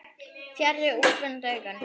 Fjarri úrvinda augum.